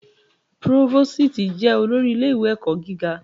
Próvósìtì jẹ olórí ilé-ẹ̀kọ́ gíga.